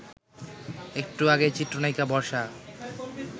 একটু আগে চিত্রনায়িকা বর্ষা